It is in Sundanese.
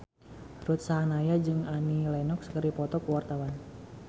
Ruth Sahanaya jeung Annie Lenox keur dipoto ku wartawan